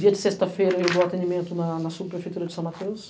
Dia de sexta-feira, eu vou ao atendimento na na subprefeitura de São Mateus.